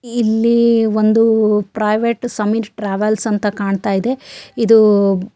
ಇಲ್ಲಿ ಒಂದು private Sameer travels ಅಂತ ಕಾಣ್ತಾ ಇದೆ ಇದು --